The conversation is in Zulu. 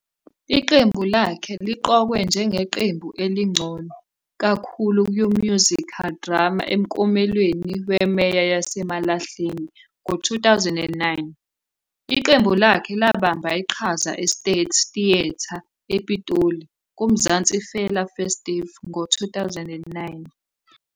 Iqembu lakhe liqokwe njengeQembu Elingcono Kakhulu kwi-Musical Drama emklomelweni weMeya yaseMalahleni ngo-2009. Iqembu lakhe labamba iqhaza eState Theatre ePitoli kuMzansi Fela Festival ngo-2009.